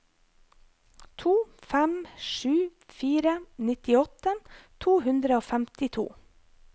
to fem sju fire nittiåtte to hundre og femtito